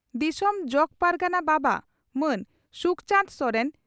ᱫᱤᱥᱚᱢ ᱡᱚᱜᱚ ᱯᱟᱨᱜᱟᱱᱟ ᱵᱟᱵᱟ ᱢᱟᱱ ᱥᱩᱠᱪᱟᱱᱫᱽ ᱥᱚᱨᱮᱱ